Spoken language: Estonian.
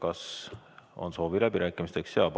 Kas on soovi läbirääkimisteks?